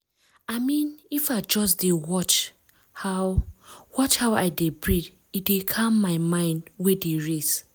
i mean if i just dey watch how watch how i dey breathe e dey calm my mind wey dey race.